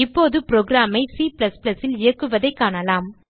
இப்போது புரோகிராம் ஐ Cல் இயக்குவதைக் காணலாம்